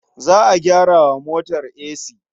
Za a gyara wa motar esi.